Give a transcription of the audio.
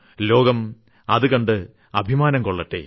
ലോകം അതു കണ്ട് അഭിമാനം കൊള്ളട്ടെ